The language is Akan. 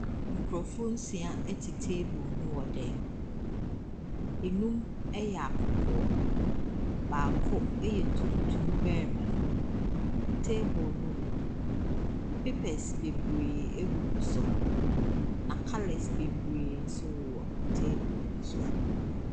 Nkurɔfoɔ nsia te table ho wɔ dan mu. Nnum yɛ akɔkɔɔ, baako yɛ tuntum barima. Table no, papers bebree gugu so, na colours bebree nso wɔ table no so.